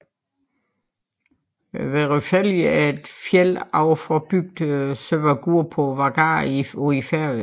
Vørðufelli er et fjeld ovenfor bygden Sørvágur på Vágar i Færøerne